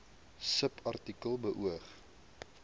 subartikel beoog